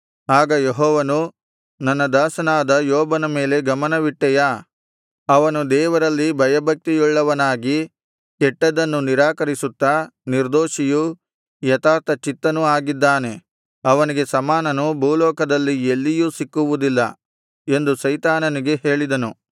ಆಗ ಯೆಹೋವನು ನನ್ನ ದಾಸನಾದ ಯೋಬನ ಮೇಲೆ ಗಮನವಿಟ್ಟೆಯಾ ಅವನು ದೇವರಲ್ಲಿ ಭಯಭಕ್ತಿಯುಳ್ಳವನಾಗಿ ಕೆಟ್ಟದ್ದನ್ನು ನಿರಾಕರಿಸುತ್ತಾ ನಿರ್ದೋಷಿಯೂ ಯಥಾರ್ಥಚಿತ್ತನೂ ಆಗಿದ್ದಾನೆ ಅವನಿಗೆ ಸಮಾನನು ಭೂಲೋಕದಲ್ಲಿ ಎಲ್ಲಿಯೂ ಸಿಕ್ಕುವುದಿಲ್ಲ ಎಂದು ಸೈತಾನನಿಗೆ ಹೇಳಿದನು